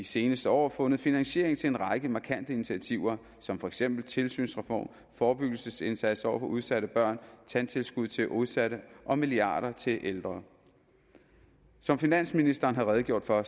seneste år fundet finansiering til en række markante initiativer som for eksempel en tilsynsreform forebyggelsesindsats over for udsatte børn tandtilskud til udsatte og milliarder til de ældre som finansministeren har redegjort for